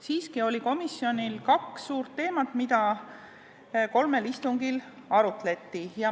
Siiski oli komisjonil kaks suurt teemat, mida kolmel istungil arutleti.